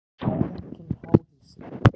Í staðinn kemur háhýsi.